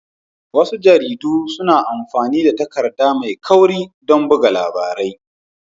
Wasu jaridu suna amfani da takarda mai kauri don buga labarai